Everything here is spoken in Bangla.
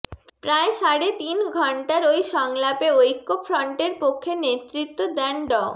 প্রায় সাড়ে তিন ঘণ্টার ওই সংলাপে ঐক্যফ্রন্টের পক্ষে নেতৃত্ব দেন ড